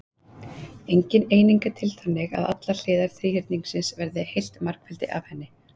Engin eining er til þannig að allar hliðar þríhyrningsins verði heilt margfeldi af henni.